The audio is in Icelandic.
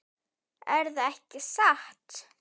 Erða ekki satt?